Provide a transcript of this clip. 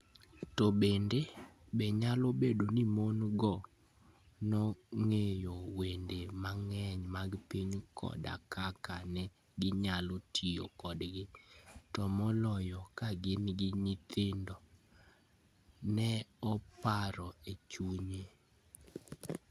To bende, be nyalo bedo ni mon - go nong'eyo wende mang'eny mag piny koda kaka ne ginyalo tiyo kodgi, to moloyo ka gin gi nyithindo? Ne oparo e chunye.